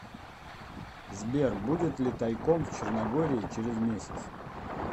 сбер будет ли тайком в черногории через месяц